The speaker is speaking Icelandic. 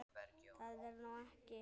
Það er nú ekki.